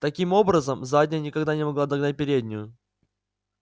таким образом задняя никогда не могла догнать переднюю